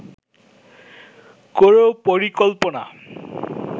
কোনো পরিকল্পনা